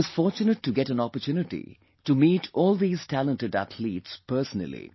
I was fortunate to get an opportunity to meet all these talented athletes personally